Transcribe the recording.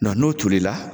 n'o tolila